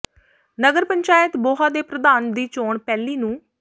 ਨਗਰ ਪੰਚਾਇਤ ਬੋਹਾ ਦੇ ਪ੍ਰਧਾਨ ਦੀ ਚੋਣ ਪਹਿਲੀ ਨੂੰ